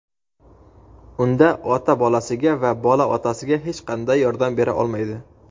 unda ota bolasiga va bola otasiga hech qanday yordam bera olmaydi.